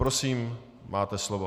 Prosím, máte slovo.